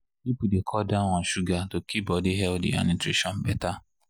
people dey cut down sugar to keep body healthy and nutrition better.